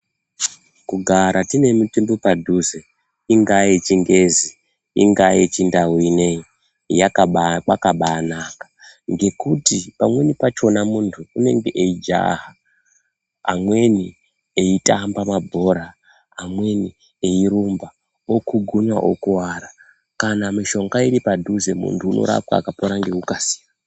Kugara tine mitombo padhuze ingaa yechingezi ingaa yechiNdau ineyi yakaba kwakabaanaka. Nekuti pamweni pachona muntu unenge eijaha, amweni eitamba mabhora, amweni eirumba, okugunywa okuvara. Kana mishonga iri padhuze muntu unorapwa akapora ngekukasira.